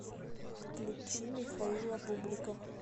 включи михаила бублика